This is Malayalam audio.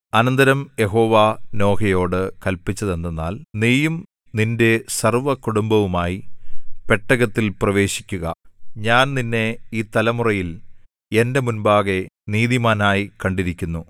അനന്തരം യഹോവ നോഹയോട് കല്പിച്ചതെന്തെന്നാൽ നീയും നിന്റെ സർവ്വകുടുംബവുമായി പെട്ടകത്തിൽ പ്രവേശിക്കുക ഞാൻ നിന്നെ ഈ തലമുറയിൽ എന്റെ മുമ്പാകെ നീതിമാനായി കണ്ടിരിക്കുന്നു